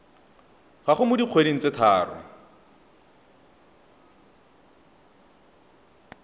gago mo dikgweding tse tharo